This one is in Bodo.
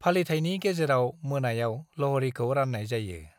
फालिथायनि गेजेराव मोनायाव ल'हड़ीखौ राननाय जायो।